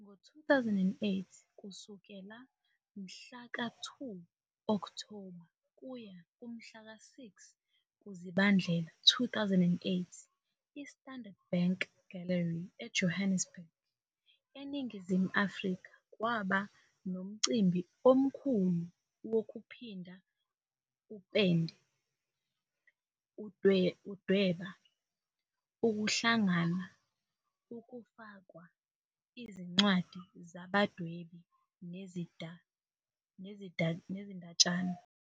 Ngo-2008, kusukela mhlaka 2 Okthoba kuya kumhlaka 6 kuzibandlela 2008, iStandard Bank Gallery eJohannesburg, eNingizimu Afrika kwaba nomcimbi omkhulu wokuphinda upende, ukudweba, ukuhlangana, ukufakwa, izincwadi zabadwebi nezindatshana.